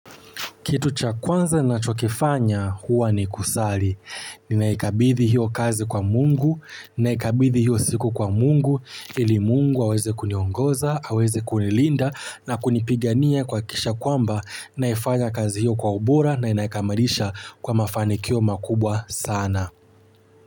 Kitu cha kwanza nachokifanya huwa ni kusali. Ninaikabithi hiyo kazi kwa Mungu, ninaikabithi hiyo siku kwa Mungu, ili Mungu aweze kuniongoza, aweze kunilinda na kunipigania kuhakikisha kwamba, naifanya kazi hiyo kwa ubora na naikamilisha kwa mafanikio makubwa sana.